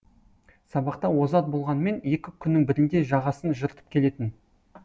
сабақта озат болғанымен екі күннің бірінде жағасын жыртып келетін